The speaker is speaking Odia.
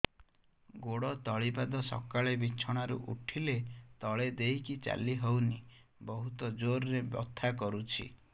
ଗୋଡ ତଳି ପାଦ ସକାଳେ ବିଛଣା ରୁ ଉଠିଲେ ତଳେ ଦେଇକି ଚାଲିହଉନି ବହୁତ ଜୋର ରେ ବଥା କରୁଛି